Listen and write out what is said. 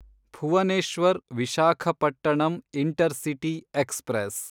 Bhuvneshwar Visakhapatnam intercity express